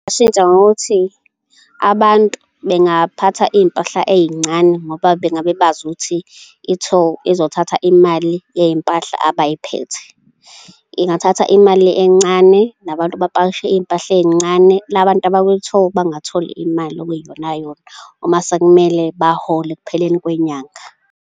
Ngingashintsha ngokuthi abantu bengaphatha iy'mpahla ey'ncane ngoba bengabebazi ukuthi i-toll izothatha imali yey'mpahla abayiphethe. Ingathatha imali encane nabantu bapakishe iy'mpahla ey'ncane, la bantu abakwi-toll bangatholi imali ekuyiyonayona uma sekumele bahole ekupheleni kwenyanga.